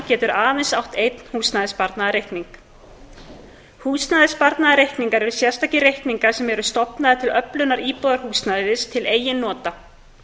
getur aðeins átt einn húsnæðissparnaðarreikning húsnæðissparnaðarreikningar eru sérstakir reikningar sem eru stofnaðir til öflunar íbúðarhúsnæðis til eigin nota